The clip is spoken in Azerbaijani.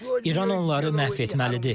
İran onları məhv etməlidir.